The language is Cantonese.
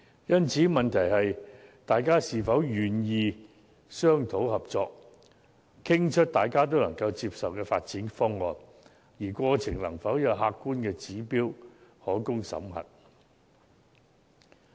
因此，問題是大家是否願意商討合作，以得出各方皆能接受的發展方案，而在商討過程又有否有客觀的指標可供審核。